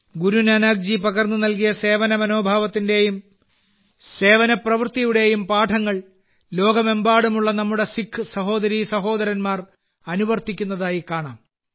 ഗുരുനാനാക് ജി പകർന്നു നൽകിയ സേവനമനോഭാവത്തിന്റെയും സേവന പ്രവർത്തിയുടെയും പാഠങ്ങൾ ലോകമെമ്പാടുമുള്ള നമ്മുടെ സിഖ് സഹോദരീസഹോദരന്മാർ അനുവർത്തിക്കുന്നതായി കാണാം